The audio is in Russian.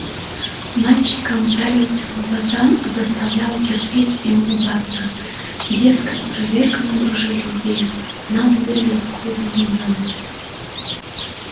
мальчикам пялился в глаза заставлял терпеть и улыбаться дескать проверка на дружелюбие нам быдла в клубе не надо